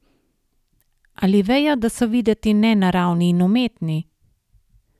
Ali vejo, da so videti nenaravni in umetni?